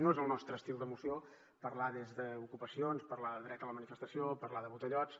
no és el nostre estil de moció parlar des d’ocupacions parlar de dret a la manifestació parlar de botellots